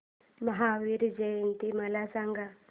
महावीर जयंती मला सांगा